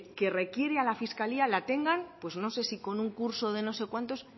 que requiere a la fiscalía la tengan pues no sé si con un curso se no sé cuántos